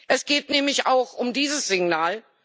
Es geht nämlich auch um dieses Signal.